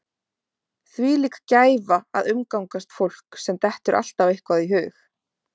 Þvílík gæfa að umgangast fólk sem dettur alltaf eitthvað í hug.